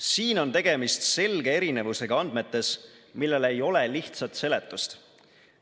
Siin on tegemist selge erinevusega andmetes, millele ei ole lihtsat seletust.